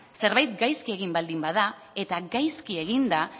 zerbait gaizki egin baldin bada eta gaizki egin da